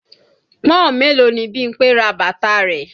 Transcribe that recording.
Pọ́n-ọ̀n mélòó ni Bímpé ra bàtà rẹ̀?